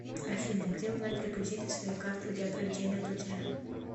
афина где узнать реквизиты своей карты для проведения платежа